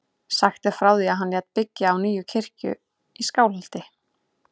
Sagt er frá því að hann lét byggja nýja kirkju í Skálholti.